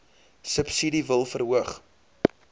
subsidie wil verhoog